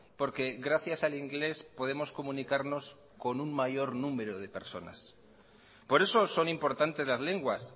porque gracias al inglés podemos comunicarnos con un mayor número de personas por eso son importantes las lenguas